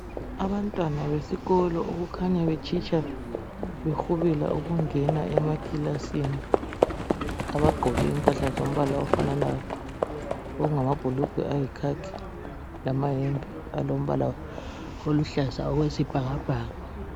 Abantwana besikolo okukhanya betshitsha behubela ukungena emakilasini. Abagqoke impahla zombala ofananayo okungamabhulugwe ayikhakhi lamayembe alombala oluhlaza okwesibhakabhaka.